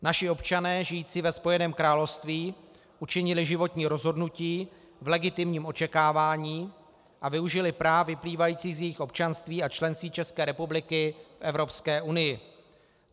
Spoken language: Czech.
Naši občané žijící ve Spojeném království učinili životní rozhodnutí v legitimním očekávání a využili práv vyplývajících z jejich občanství a členství České republiky v Evropské unii.